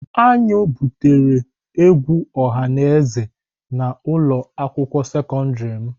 Aṅụ butere egwu ọha na eze na ulo akwukwuo sekọndrị m.